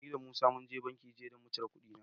Ni da Musa mun je banki jiya don mu cire kuɗina.